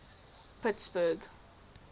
pittsburgh